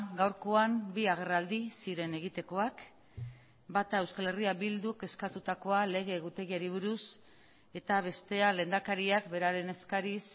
gaurkoan bi agerraldi ziren egitekoak bata euskal herria bilduk eskatutakoa lege egutegiari buruz eta bestea lehendakariak beraren eskariz